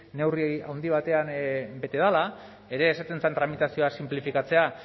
neurri handi batean bete dela ere esaten zen tramitazioa sinplifikatzea